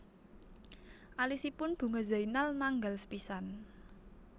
Alisipun Bunga Zainal nanggal sepisan